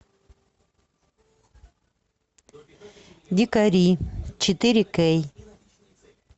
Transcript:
дикари четыре кей